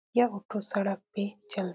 यह ऑटो सड़क पे चल --